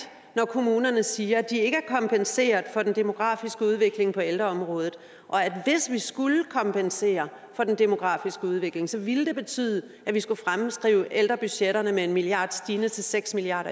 når kommunerne siger de ikke er kompenseret for den demografiske udvikling på ældreområdet og at hvis vi skulle kompensere for den demografiske udvikling så ville det betyde at vi skulle opskrive ældrebudgetterne med en milliard kroner stigende til seks milliard